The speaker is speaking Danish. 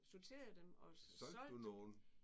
Sorterede dem og solgte dem